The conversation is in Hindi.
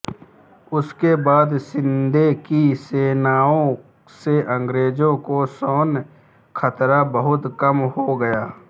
उसके बाद शिंदे की सेनाओं से अंग्रेजों को सैन्य खतरा बहुत कम हो गया